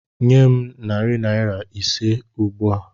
Nye m narị naira ise m ugbu a!